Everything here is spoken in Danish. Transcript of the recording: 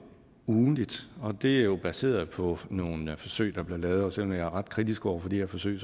ugentligt det er jo baseret på nogle forsøg der blev lavet og selv om jeg er ret kritisk over for de forsøg